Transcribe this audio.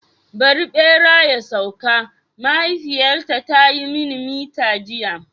Bari bera ya sauka! mahaifiyata ta yi mini mita jiya.